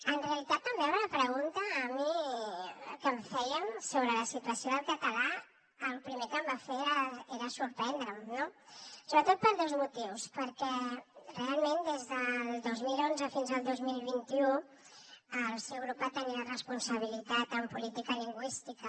en realitat en veure la pregunta que em feien sobre la situació del català el primer que em va fer va ser sorprendre’m no sobretot per dos motius perquè realment des del dos mil onze fins al dos mil vint u el seu grup va tenir la responsabilitat en política lingüística